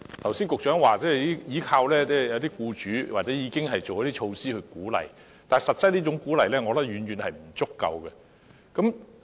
局長剛才表示要依靠僱主或已經推行一些措施來鼓勵僱主，但我認為這種鼓勵實際上是遠遠不足夠的。